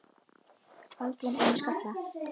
Baldvin er með skalla.